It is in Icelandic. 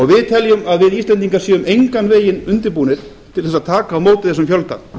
við teljum að við íslendingar séum engan veginn undirbúnir til þess að taka á móti þessum fjölda